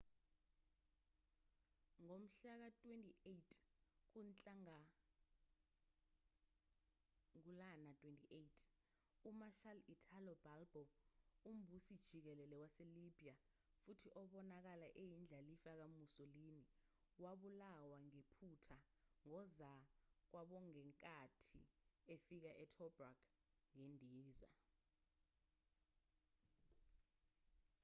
ngomhlaka 28 kunhlangulana 28 u-marshal italo balbo umbusi-jikelele wase-libya futhi obonakala eyindlalifa ka-musolini wabulawa ngephutha ngozakwabongenkathi efika e-tobruk ngendiza